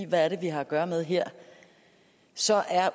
hvad vi har at gøre med her så er